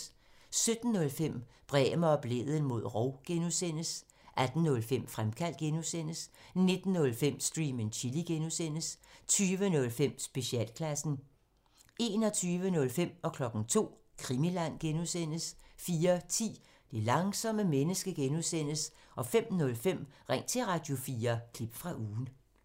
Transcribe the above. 17:05: Bremer og Blædel mod rov (G) 18:05: Fremkaldt (G) 19:05: Stream and Chill (G) 20:05: Specialklassen 21:05: Krimiland (G) 02:00: Krimiland (G) 04:10: Det langsomme menneske (G) 05:05: Ring til Radio4 – klip fra ugen